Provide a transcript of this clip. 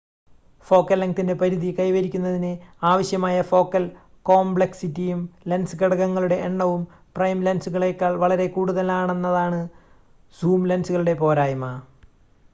focal ലെങ്‌തിൻ്റെ പരിധി കൈവരിക്കുന്നതിന് ആവശ്യമായ ഫോക്കൽ കോംപ്ലെക്‌സിറ്റിയും ലെൻസ് ഘടകങ്ങളുടെ എണ്ണവും പ്രൈം ലെൻസുകളേക്കാൾ വളരെ കൂടുതലാണെന്നതാണ് സൂം ലെൻസുകളുടെ പോരായ്മ